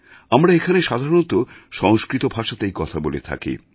আমরা এখানে সাধারণত সংস্কৃত ভাষাতেই কথা বলে থাকি